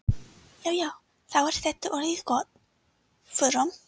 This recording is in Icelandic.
Jæja, þá er þetta orðið gott. Förum.